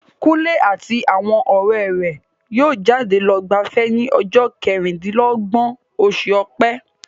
Kunle àti àwọn ọ̀rẹ́ rẹ̀ yóò jáde lọ gbafẹ́ ní ọjọ́ kẹrìndínlọ́gbọ̀n oṣù ọ̀pẹ.